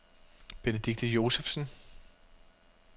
Benedikte Josephsen